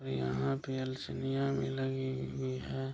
और यहाँ पे भी लगी हुई है।